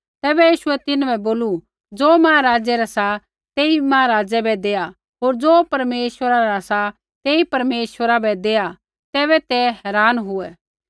तैबै यीशुऐ तिन्हां बै बोलू ज़ो महाराजै रा सा तेई महाराजै बै दैआ होर ज़ो परमेश्वरा रा सा तेई परमेश्वरा बै दैआत् तैबै ते हैरान हुऐ